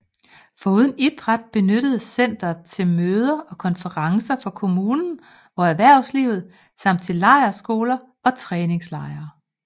Foruden idræt benyttes centret til møder og konferencer for kommunen og erhvervslivet samt til lejrskoler og træningslejre